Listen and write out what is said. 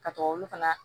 Ka to olu fana